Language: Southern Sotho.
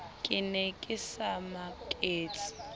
ke ne ke sa maketse